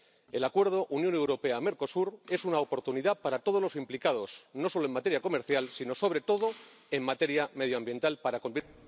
El acuerdo Unión Europea Mercosur es una oportunidad para todos los implicados, no solo en materia comercial, sino, sobre todo, en materia medioambiental para cumplir